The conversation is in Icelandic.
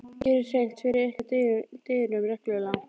Gerið hreint fyrir ykkar dyrum reglulega.